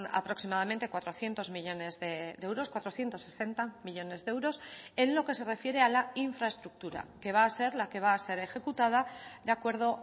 aproximadamente cuatrocientos millónes de euros cuatrocientos sesenta millónes de euros en lo que se refiere a la infraestructura que va a ser la que va a ser ejecutada de acuerdo